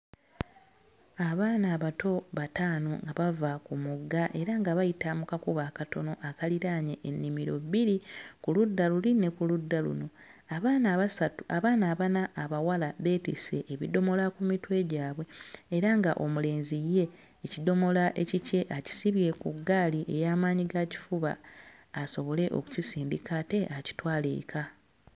Abaana abato bataano nga bava ku mugga era nga bayita mu kakubo akatono akaliraanye ennimiro bbiri, ku ludda luli ne ku ludda luno. Abaana abasatu abaana abana abawala beetisse ebidomola ku mitwe gyabwe era ng'omulenzi ye ekidomola ekikye akisibye ku ggaali eya maanyigaakifuba asobole okukisindika ate akitwale eka.